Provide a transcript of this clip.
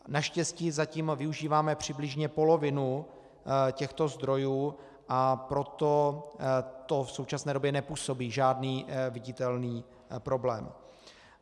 Naštěstí zatím využíváme přibližně polovinu těchto zdrojů, a proto to v současné době nepůsobí žádný viditelný problém.